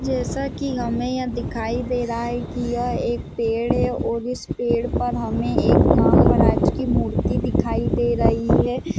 जैसा की हमे यहाँ दिखाई दे रहा है की यह एक पेड़ है और इस पेड़ पर हमे एक नांग महराज की मूर्ति दिखाई दे रही है।